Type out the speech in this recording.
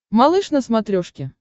малыш на смотрешке